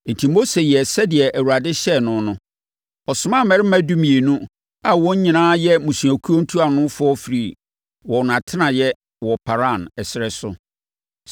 Enti Mose yɛɛ sɛdeɛ Awurade hyɛɛ no no. Ɔsomaa mmarima dumienu a wɔn nyinaa yɛ mmusuakuo ntuanofoɔ firi wɔn atenaeɛ wɔ Paran ɛserɛ so.